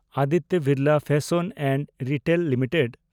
Aditya Birla fashion and retail limited